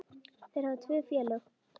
Þeir hafa tvö félög.